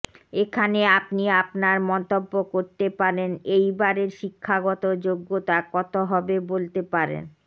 এখানে আপনি আপনার মন্তব্য করতে পারেন এইবারের শিক্ষাগত যোগ্যতা কত হবে বলতে পারেন